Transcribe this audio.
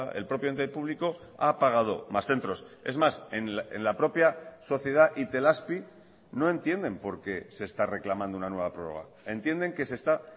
el propio ente público ha apagado más centros es más en la propia sociedad itelazpi no entienden por qué se esta reclamando una nueva prorroga entienden que se está